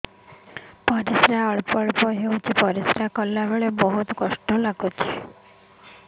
ପରିଶ୍ରା ଅଳ୍ପ ଅଳ୍ପ ହେଉଛି ପରିଶ୍ରା କଲା ବେଳେ ବହୁତ ଯନ୍ତ୍ରଣା ହେଉଛି